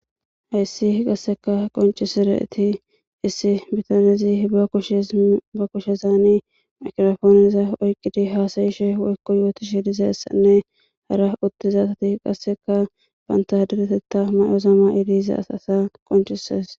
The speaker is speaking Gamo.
heyssi hi qasseka qoncisireeti issi bitanezi ashba kushezaani makrofooniza oyqqidi haasayishe woykko yooti shi lizessanne hara uttizasati qasseka bantaderetetta mayozama eliza as asa qoncises